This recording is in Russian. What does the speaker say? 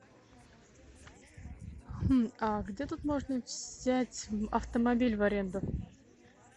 а где тут можно взять автомобиль в аренду